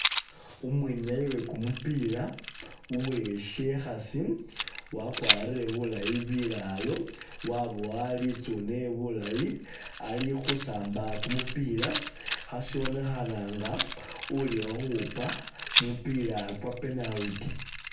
Umwinyayi wekumupila uwesikhasi wakwarile bulaayi bilalo wabowa bulaayi litsune alikhusamba kumupila khashibonekha nga uli khukhupa kumupila kwa'penalty